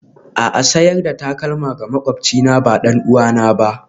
A'a, sayar da takalma ga maƙwabcina ba ɗan'uwana ba.